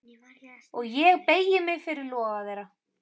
Og ég beygi mig fyrir loga þeirra.